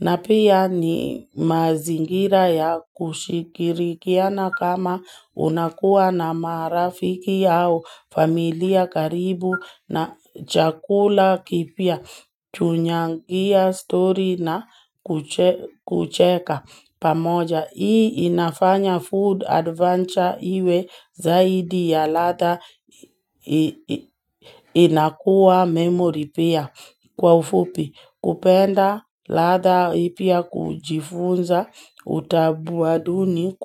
na pia ni mazingira ya kushikirikiana kama unakuwa na marafiki au familia karibu na chakula kipia. Tunyangia story na kucheka pamoja Hii inafanya food adventure iwe zaidi ya latha inakua memory pia kwa ufupi kupenda latha ipia kujifunza utabuaduni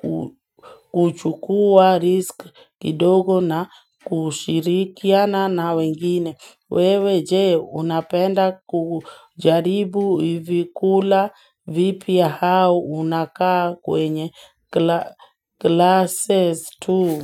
kuchukua risk kidogo na kushirikiana na wengine wewe jee unapenda kujaribu hivikula vipi ya hao unakaa kwenye glasses tu.